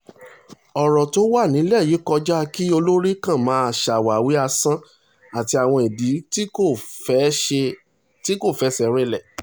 ọ̀rọ̀ tó wà nílẹ̀ yìí kọjá kí olórí kan máa ṣàwáwí asán àti àwọn ìdí tí kò fẹsẹ̀ rinlẹ̀